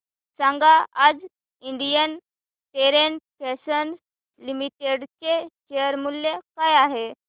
सांगा आज Indian terrain fashions limited चे शेअर मूल्य काय आहे